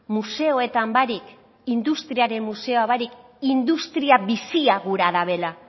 museoetan barik industriaren museoa barik industria bizia gura dabela